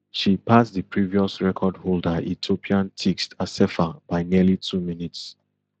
she pass di previous record holder ethiopian tigst assefa by nearly two minutes